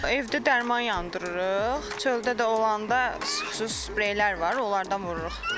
Evdə dərman yandırırıq, çöldə də olanda xüsusi spreylər var, onlardan vururuq.